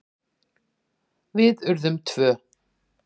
Við urðum tvö.